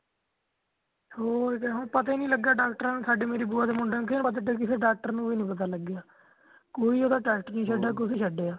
ਹੋਰ ਜੇ ਹੋਣ ਪਤਾ ਹੀ ਨਹੀਂ ਲੱਗਾ doctor ਨੂੰ, ਸਾਡੇ ਮੇਰੇ ਭੂਆ ਦੇ ਮੁੰਡੇ ਨੂੰ ਫੇਰ ਬਸ ਏਧਰ ਕਿਸੇ doctor ਨੂੰ ਵੀ ਨਹੀਂ ਪਤਾ ਲੱਗਿਆ ਕੋਈ ਉਦਾ test ਨਹੀਂ ਛੱਡਿਆ ਕੁਛ ਨਹੀਂ ਛੱਡਿਆ।